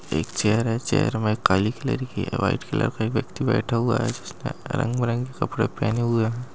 एक चेयर है | चेयर मे काली कलर की व्हाइट कलर का एक ब्यक्ति बैठा हुआ है जिसने रंग-बिरंगी कपड़े पहने हुए हैं ।